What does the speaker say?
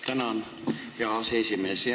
Tänan, hea aseesimees!